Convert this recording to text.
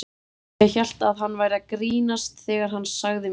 Ég hélt að hann væri að grínast þegar hann sagði mér þetta.